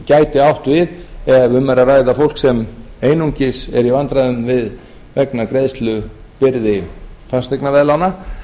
gæti átt við ef um er að ræða fólk sem einungis er í vandræðum vegna greiðslubyrði fasteignaveðlána